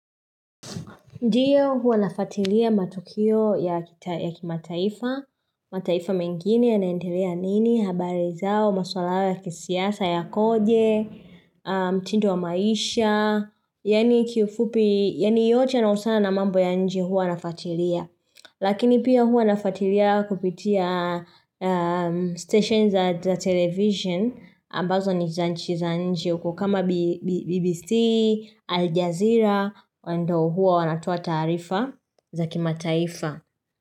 Ndiyo huwa nafuatilia matukio ya kimataifa, mataifa mengine yanaendelea nini, habari zao, maswala hayo ya kisiasa yakoje, mtindo wa maisha, yaani kiufupi, yaani yote yanahusiana na mambo ya nje huwa nafuatilia. Lakini pia huwa nafuatilia kupitia stations za television ambazo ni za nchi za nje kama BBC, Al Jazeera, ndo huwa wanatoa taarifa za kimataifa.